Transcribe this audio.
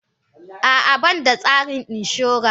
A'a, ba ni da tsarin inshora.